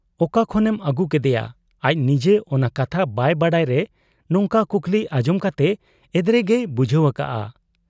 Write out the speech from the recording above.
ᱚᱠᱟ ᱠᱷᱚᱱᱮᱢ ᱟᱹᱜᱩ ᱠᱮᱫᱮᱭᱟ ?' ᱟᱡ ᱱᱤᱡᱮ ᱚᱱᱟ ᱠᱟᱛᱷᱟ ᱵᱟᱭ ᱵᱟᱰᱟᱭᱨᱮ ᱱᱚᱝᱠᱟᱱ ᱠᱩᱠᱞᱤ ᱟᱸᱡᱚᱢ ᱠᱟᱛᱮ ᱮᱫᱽᱨᱮᱜᱮᱭ ᱵᱩᱡᱷᱟᱹᱣ ᱟᱠᱟᱜ ᱟ ᱾